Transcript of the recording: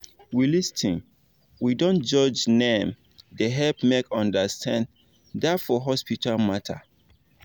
we lis ten we dont judge naim dey help make understanding da for hospital matter